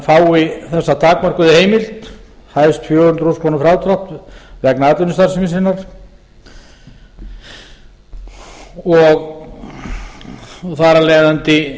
fái þessa takmörkuðu heimild hæst fjögur hundruð þúsund krónur frádrátt vegna atvinnustarfsemi sinnar og þar af leiðandi